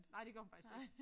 Nej det gør hun faktisk ikke